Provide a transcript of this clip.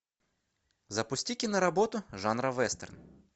запусти киноработу жанра вестерн